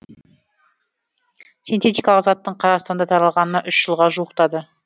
синтетикалық заттың қазақстанда таралғанына үш жылға жуықтады